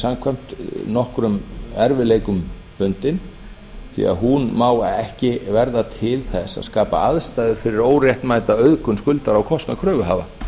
samkvæmt nokkrum erfiðleikum bundin því hún má ekki verða til þess að skapa aðstæður fyrir óréttmæta auðgun skuldara á kostnað kröfuhafa